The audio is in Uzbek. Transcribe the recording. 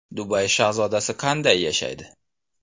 Dubay shahzodasi qanday yashaydi?